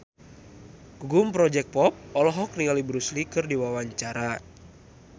Gugum Project Pop olohok ningali Bruce Lee keur diwawancara